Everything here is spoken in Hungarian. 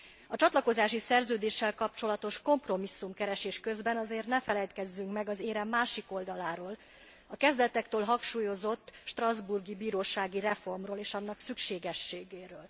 A csatlakozási szerződéssel kapcsolatos kompromisszumkeresés közben azért ne feledkezzünk meg az érem másik oldaláról, a kezdetektől hangsúlyozott Strasbourgi Bírósági reformról, és annak szükségességéről.